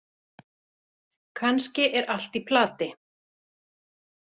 Kannski er allt í plati.